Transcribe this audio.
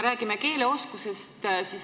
Räägime keeleoskusest.